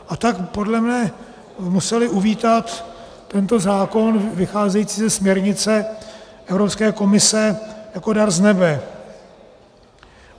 A tak podle mne museli uvítat tento zákon vycházející ze směrnice Evropské komise jako dar z nebe.